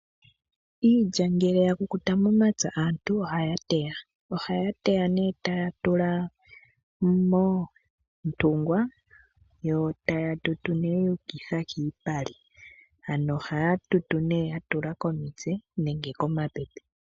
Ngele ngele yakukuta momapya aantu ohaya teya. Ohaya teya taya tula moontungwa, yo taya tutu yuukitha kiipale . Ohaya tutu yatula komitse nenge komapepe.